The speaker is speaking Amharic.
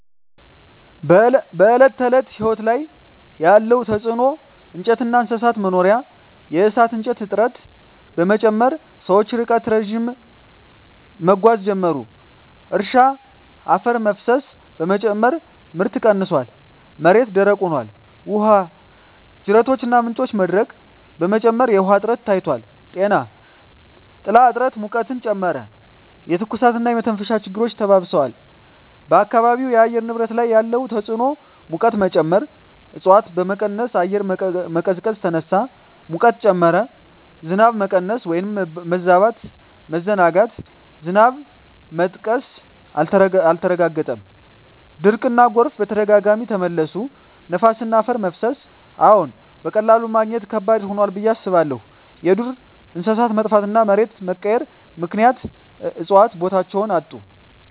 በዕለት ተዕለት ሕይወት ላይ ያለ ተጽዕኖ እንጨትና እንስሳት መኖሪያ የእሳት እንጨት እጥረት በመጨመር ሰዎች ርቀት ረዥም መጓዝ ጀመሩ። እርሻ አፈር መፍሰስ በመጨመር ምርት ቀንሷል፣ መሬት ደረቅ ሆኗል። ውሃ ጅረቶችና ምንጮች መድረቅ በመጨመር የውሃ እጥረት ታይቷል። ጤና ጥላ እጥረት ሙቀትን ጨመረ፣ የትኩሳትና የመተንፈሻ ችግሮች ተባብረዋል። በአካባቢው የአየር ንብረት ላይ ያለ ተጽዕኖ ሙቀት መጨመር እፅዋት በመቀነስ አየር መቀዝቀዝ ተነሳ፣ ሙቀት ጨመረ። ዝናብ መቀነስ/መበዛት መዘናጋት ዝናብ መጥቀስ አልተረጋገጠም፣ ድርቅና ጎርፍ በተደጋጋሚ ተመለሱ። ነፋስና አፈር መፍሰስ አዎን፣ በቀላሉ ማግኘት ከባድ ሆኗል ብዬ አስባለሁ። የዱር መጥፋትና መሬት መቀየር ምክንያት እፅዋት ቦታቸውን አጡ።